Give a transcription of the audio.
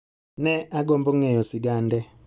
Ne agombo ng'eyo sigande